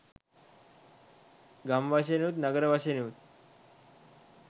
ගම් වශයෙනුත් නගර වශයෙනුත්